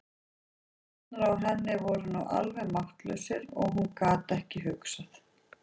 Fæturnir á henni voru alveg máttlausir og hún gat ekki hugsað.